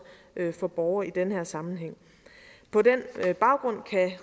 for borgere i den her sammenhæng på den baggrund kan